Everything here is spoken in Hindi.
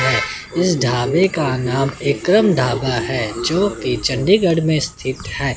इस ढाबे का नाम विक्रम ढाबा है जोकि चंडीगढ़ में स्थित है।